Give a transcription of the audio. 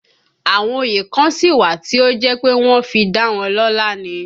Àwọn òye kan sí wà tí ó jẹ́ pé wọ́n fi dá wọn lọ́la ni